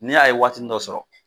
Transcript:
N' y'a ye waatinin dɔ sɔrɔ.